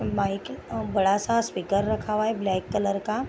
Mic और बड़ा सा स्पीकर रखा हुआ है ब्लैक कलर का।